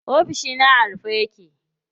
Ofishina a rufe yake.